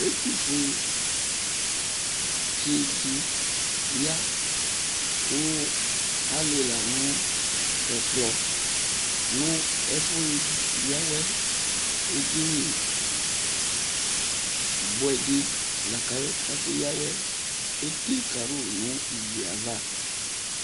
Ɛtʊfʊetsɩdɩ ya kʊ alɩla nʊ ɛkplɔ nʊ ɛfu ya awɛ edɩnɩ bʊɛdɩ laka akeya awɛ atsɩ ɛna tʊnʊ ayava